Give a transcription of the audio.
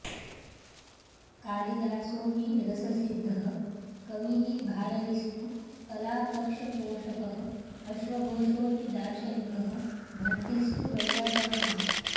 कालिदासो हि रससिद्धः कविः भारविस्तु कलापक्षपोषकः अश्वघोषो हि दार्शनिकः भट्टिस्तु वैयाकरणः